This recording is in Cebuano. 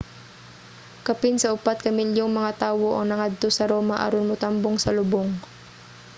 kapin sa upat ka milyong mga tawo ang nangadto sa roma aron motambong sa lubong